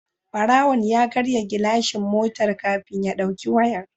Barawon ya karya gilashin motar kafin ya dauki wayar